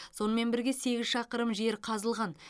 сонымен бірге сегіз шақырым жер қазылған